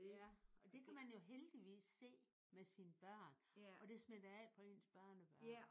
Ja og det kan man jo heldigvis se med sine børn og det smitter af på ens børnebørn